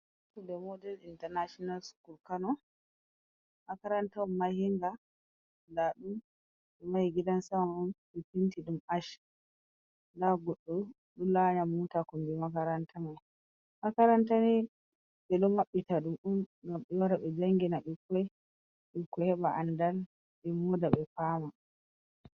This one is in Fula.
Model intanashinal sukul kano. makaranta on mahinga. Ɗadum mahi gidan sama on be penti dum assh. Goɗɗo do lanya mota kumbi makaranta mai. Makarantani be do mabbita dum gam be waa be jangina bikkoi. Bikkoi heba a'andal e mooda be fama.